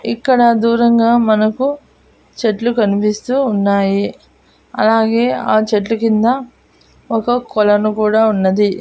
ఇక్కడ దూరంగా మనకు చెట్లు కనిపిస్తూ ఉన్నాయి అలాగే ఆ చెట్ల కింద ఒక కొలను కూడా ఉన్నది.